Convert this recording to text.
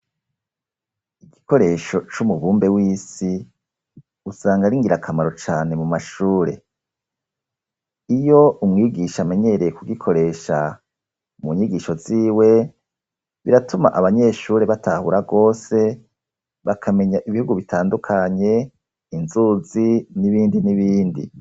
Igikoresho c'umubumbe w'isi usanga ar'ingirakamaro cane mu mashure iyo umwigisha amenyereye kugikoresha mu nyigisho ziwe biratuma abanyeshure batahura gose bakamenya ibihugu bitandukanye inzuzi n'ibindi n'ibindi.